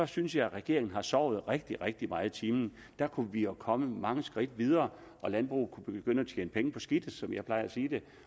synes jeg at regeringen har sovet rigtig rigtig meget i timen der kunne vi være kommet mange skridt videre og landbruget kunne begynde at tjene penge på skidtet som jeg plejer at sige det